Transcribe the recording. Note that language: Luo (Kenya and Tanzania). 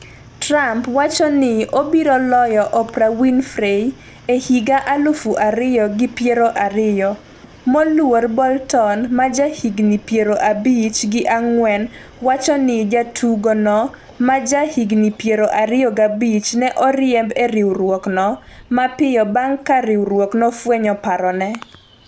Trump wacho ni obiro loyo Oprah Winfrey e higa aluf ariyo gi piero ariyo. moluor Bolton ma jahigni piero abich gi ang'wen, wacho ni jatugo no ma ja higni piero ariyo gabich ne oriemb e riwruok no mapiyo bang' ka riwruok nofwenyo parone